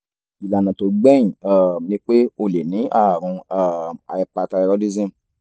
ìlànà tó gbẹ̀yìn um ni pé o lè ní àrùn um hyperthyroidism